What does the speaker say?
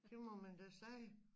Det må man da sige